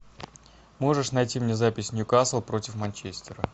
можешь найти мне запись ньюкасл против манчестера